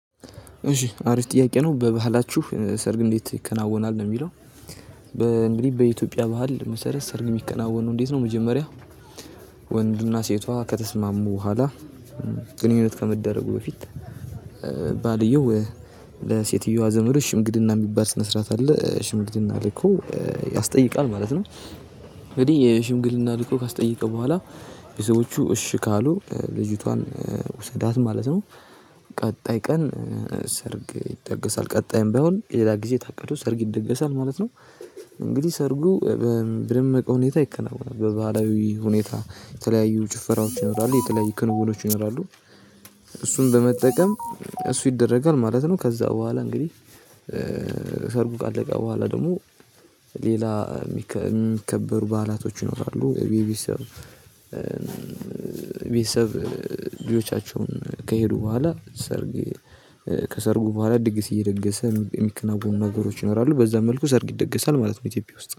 እሺ አሪፍ ጥያቄ ነው። በባህላችሁ ሰርግ እንዴት ይከናወናል? ነው የሚለው እንግዲህ በኢትዮጵያ ባህል መሰረት ሰርግ የሚከናወኑ እንዴት ነው መጀመሪያ- ወንድና ሴቷ ከተስማሙ በኋላ ግንኙነት ከመደረጉ በፊት- ባልየው ለሰትዮዋ ዘመዶች ሽንግልና የሚባል ስነ ስርዓት አለ ሽምግልና ልኮ ያስጠይቃል ማለት ነው። እንግዲህ ሽምግልና ልኮ ካስተየቀ በኃላ ሰዎቹ እሺ ካሉ ልጅቷን ዉሰዳት ማለት ነው። ቀጣይ ቀን ሰርግ ይደገሳል። ቀጣይም በይሆንም ሌላ ጊዜ ታቀዱ ሰርግ ይደገሳል ማለት ነው። እንግዲህ ሰርጉ- በደመቀ ሁኔታ ይከናወናል በባህላዊ ሁኔታ የተለያዩ ጭፈራዎች ይኖራሉ። የተለያዩ ክንውኖች ይኖራሉ። እሱን በመጠቀም እሱ ይደረጋል ማለት ነው። ከዛ በኋላ እንግዲህ- ሰርጉ ካለቀ በኋላ ደግሞ ሌላ የሚከበሩ በዓላቶች ይኖራሉ። ቤተሰብ ልጆቻቸውን ከሄዱ በኋላ ሰርግ ከሰርጉ በኋላ ድግስ እየደገሰ የሚከናወኑ ነገሮች ይኖራሉ። በዛ መልኩ ሰርግ ይደገሳል ማለት ነው ኢትዮጵያ ውስጥ።